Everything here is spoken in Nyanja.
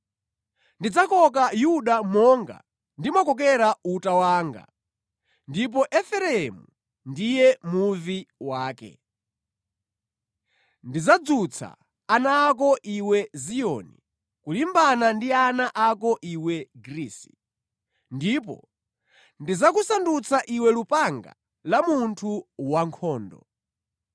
Ndidzakoka Yuda monga ndimakokera uta wanga, ndipo Efereimu ndiye muvi wake. Ndidzadzutsa ana ako iwe Ziyoni, kulimbana ndi ana ako iwe Grisi, ndipo ndidzakusandutsa iwe lupanga la munthu wankhondo.